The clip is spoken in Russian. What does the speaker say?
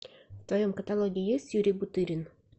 в твоем каталоге есть юрий бутырин